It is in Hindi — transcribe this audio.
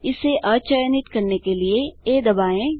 इसे अचयनित करने के लिए आ दबाएँ